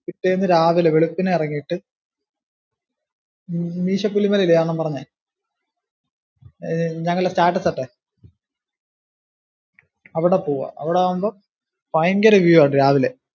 പിറ്റേന്ന് രാവിലെ വെളുപ്പിനെ ഇറങ്ങിയിട്ട് മീശപുലിമല ഇല്ലിയോ അണ്ണൻ പറഞ്ഞെ, ഞങ്ങടെ status ഇട്ടേ അവിടെ പോവുക, അവിടാവുമ്പോ ഭയങ്കര view ആ രാവിലെ